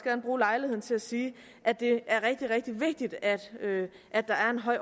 vil bruge lejligheden til at sige at det er rigtig rigtig vigtigt at at der er en høj